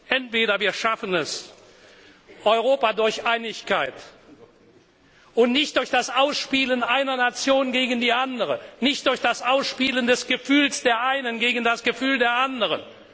Entweder wir schaffen es, Europa durch Einigkeit und nicht durch das Ausspielen einer Nation gegen die andere, nicht durch das Ausspielen des Gefühls der einen gegen das Gefühl der anderen.